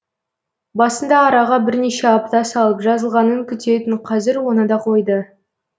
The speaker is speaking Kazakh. басында араға бірнеше апта салып жазылғанын күтетін қазір оны да қойды